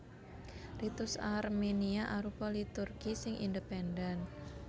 Ritus Armenia arupa liturgi sing independen